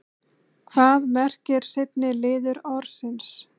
hvað merkir seinni liður orðsins